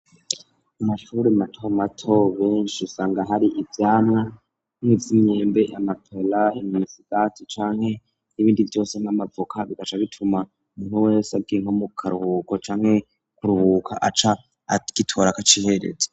Amashuri mato mato ,benshi usanga hari ivyamwa, nk'imyembe, amapela ,imisigati ,canke n'ibindi vyose nk'amavoka ,bigaca bituma umuntu wese agiye nko mu karuhuko canke kuruhuka aca agitora akacihereza.